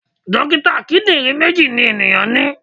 Dókítà kíndìnrín méjì ni ènìyàn ní.